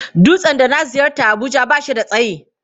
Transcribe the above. Dutsen da na ziyarta a Abuja ba shi da tsayi.